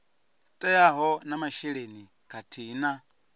teaho na masheleni khathihi na